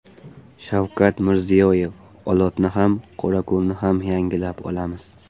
Shavkat Mirziyoyev: Olotni ham, Qorako‘lni ham yangilab olamiz.